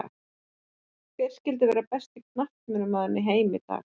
Hver skyldi vera besti knattspyrnumaður í heiminum í dag?